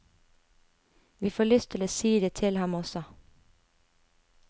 Vi får lyst til å si det til ham også.